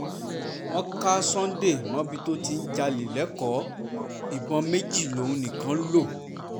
wọ́n ka sunday mọ́bí tó ti ń jalè lẹ́kọ̀ọ́ ìbọn méjì lòun nìkan ń lò